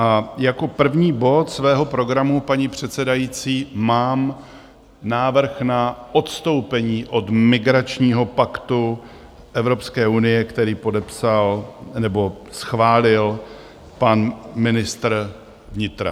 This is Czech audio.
A jako první bod svého programu, paní předsedající, mám návrh na odstoupení od migračního paktu Evropské unie, který podepsal, nebo schválil pan ministr vnitra.